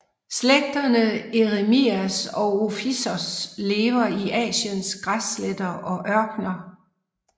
Slægterne Eremias og Ophisops lever i Asiens græssletter og ørkener